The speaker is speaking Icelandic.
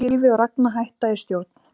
Gylfi og Ragna hætta í stjórn